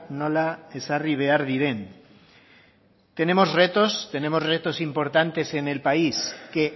nola ezarri behar diren tenemos retos tenemos retos importantes en el país que